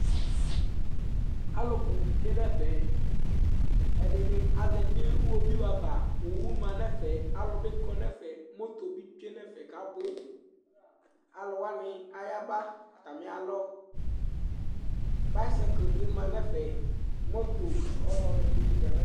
Alʋ bʋ tsue nʋ ɛfɛ Ɛdɩnɩ azati nʋ iɣoviunɩ ava Owu ma nʋ ɛfɛ Alʋ bɩ kɔ nʋ ɛfɛ Moto bɩ tsue nʋ ɛfɛ kʋ abʋ Alʋ wanɩ ayaba atamɩalɔ Baskɛt bɩ ma nʋ ɛfɛ Moto ɔlɔdɩ bɩ ya nʋ ɛfɛ